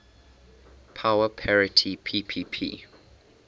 power parity ppp